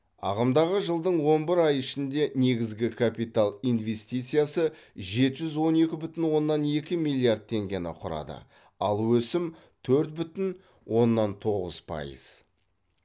ағымдағы жылдың он бір ай ішінде негізгі капитал инвестициясы жеті жүз он екі бүтін оннан екі миллиард теңгені құрады ал өсім төрт бүтін оннан тоғыз пайыз